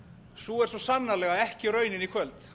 sú er svo sannarlega ekki raunin í kvöld